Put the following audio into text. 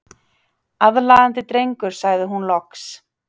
Aðlaðandi drengur sagði hún loks.